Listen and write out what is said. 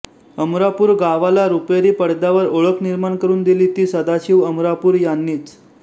अमरापूर गावाला रुपेरी पडद्यावर ओळख निर्माण करून दिली ती सदाशिव अमरापूूर यांनीच